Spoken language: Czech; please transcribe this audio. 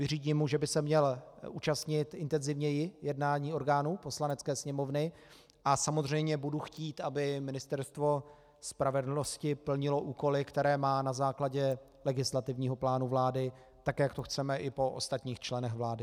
Vyřídím mu, že by se měl účastnit intenzivněji jednání orgánů Poslanecké sněmovny, a samozřejmě budu chtít, aby Ministerstvo spravedlnosti plnilo úkoly, které má na základě legislativního plánu vlády, tak jak to chceme i po ostatních členech vlády.